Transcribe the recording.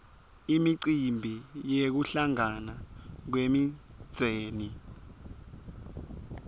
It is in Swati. imicimbi yekuhlangana kwemindzeni